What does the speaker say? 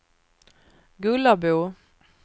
Gullabo